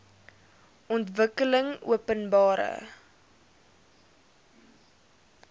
ontwikkelingopenbare